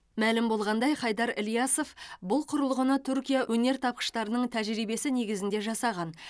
мәлім болғандай хайдар ильясов бұл құрылғыны түркия өнертапқыштарының тәжірибесі негізінде жасаған